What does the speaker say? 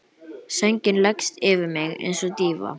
Sængin leggst yfir mig einsog dýfa.